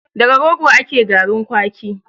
Daga rogo ake garin kwaki